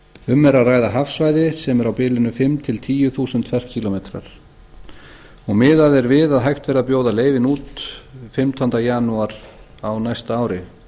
um er að ræða hafsvæði sem er á bilinu fimm til tíu þúsund ferkílómetrar og miðað er við að hægt verði að bjóða leyfin út fimmtánda janúar á næsta ári